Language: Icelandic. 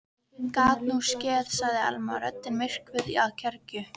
Gat nú skeð sagði Elma, röddin myrkvuð af kergju.